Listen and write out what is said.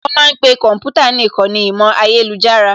Wọ́n ma ń pe yàrá kọ̀ḿpútà ní ìkànnì ìmọ̀ ayélujára